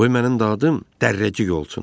Qoy mənim adım Dərrəcik olsun.